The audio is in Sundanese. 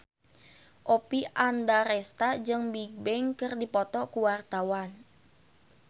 Oppie Andaresta jeung Bigbang keur dipoto ku wartawan